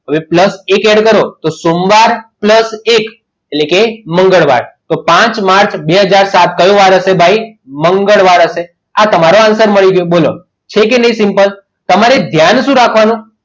હવે plus એક add કરો તો સોમવાર plus એક એટલે કે મંગળવાર તો પાંચ માર્ચ બે હાજર ને સાત કયો વાર હશે ભાઈ મંગળવાર હશે આ તમારો answer મળી ગયો બોલો છે કે નહીં simple તમારે ધ્યાન શું રાખવાનું